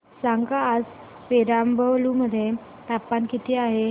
सांगा आज पेराम्बलुर मध्ये तापमान किती आहे